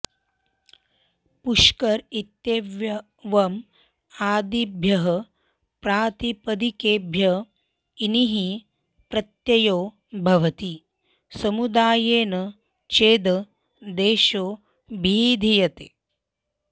पुष्कर इत्येवम् आदिभ्यः प्रातिपदिकेभ्य इनिः प्रत्ययो भवति समुदायेन चेद् देशो ऽभिधीयते